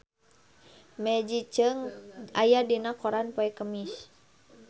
Maggie Cheung aya dina koran poe Kemis